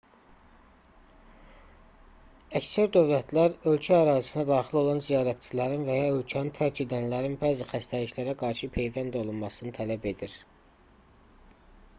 əksər dövlətlər ölkə ərazisinə daxil olan ziyarətçilərin və ya ölkəni tərk edənlərin bəzi xəstəliklərə qarşı peyvənd olunmasını tələb edir